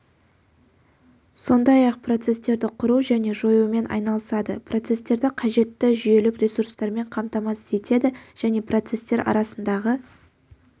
сондай-ақ процестерді құру және жоюмен айналысады процестерді қажетті жүйелік ресурстармен қамтамасыз етеді және процестер арасындағы